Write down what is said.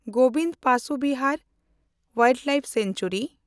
Gobind Pashu Vihar wildlife sanctuary